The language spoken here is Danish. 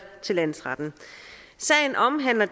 landsretten sagen omhandler